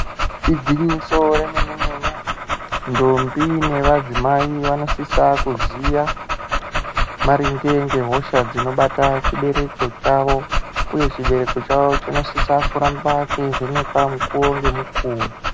Igwinyiso remene-mene, ndombi nevadzimai vanosise kuziya maringe ngehosha dzinobate chibereko chavo uye chibereko chawo chinosisa kuramba cheivhenekwa mukuwo ngemukuwo.